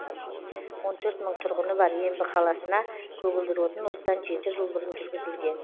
он төрт мың тұрғыны бар ембі қаласына көгілдір отын осыдан жеті жыл бұрын жүргізілген